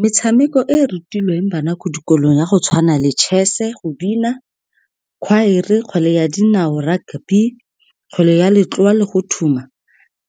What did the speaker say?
Metshameko e rutilweng bana ko dikolong, ya go tshwana le chess-e, go bina, khwaere, kgwele ya dinao, rugby, kgwele ya , le go thuma,